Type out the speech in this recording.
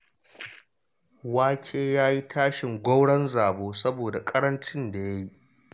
Wake ya yi tashin gwauron zabo saboda ƙarancin da ya yi.